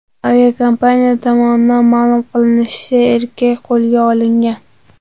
Aviakompaniya tomonidan ma’lum qilinishicha, erkak qo‘lga olingan.